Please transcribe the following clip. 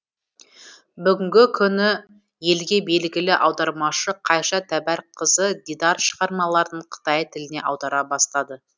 бүгінгі күні елге белгілі аудармашы қайша тәбәрікқызы дидар шығармаларын қытай тіліне аудара бастады